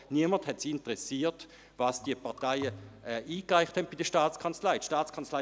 Niemanden hat es interessiert, was diese Parteien bei der Staatskanzlei eingereicht haben.